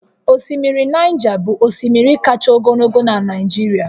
Osimiri Naịja bụ osimiri kacha ogologo na Nijirịa